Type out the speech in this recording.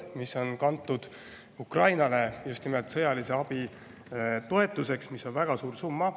See on kantud Ukrainale sõjaliseks abiks ja see on väga suur summa.